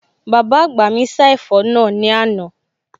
Bàbá àgbà mi sá ẹ̀fọ́ náà ní àná